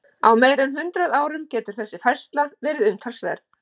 Á meira en hundrað árum getur þessi færsla verið umtalsverð.